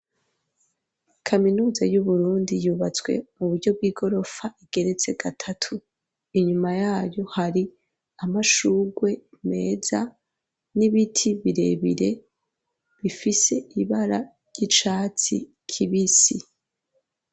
Kaminuza y'uburundi yubatswe mu buryo bw'i gorofa igeretse gatatu, inyuma yayo hari amashurwe meza n'ibiti birebire bifise ibara ry'icatsi kibisi.